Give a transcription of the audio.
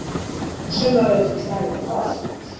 Suma vetur flæðir oft